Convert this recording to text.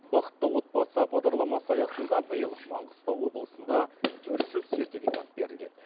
бақытты отбасы бағдарламасы аясында биыл маңғыстау облысында үш жүз сертификат беріледі